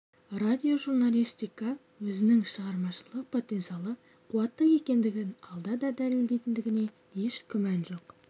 радиожурналистика өзінің шығармашылық потенциалы қуатты екендігін алда да дәлелдейтіндігіне еш күмән жоқ